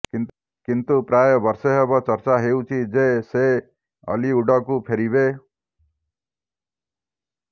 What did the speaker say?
କିନ୍ତୁ ପ୍ରାୟ ବର୍ଷେ ହେବ ଚର୍ଚ୍ଚା ହେଉଛି ଯେ ସେ ଓଲିଉଡକୁ ଫେରିବେ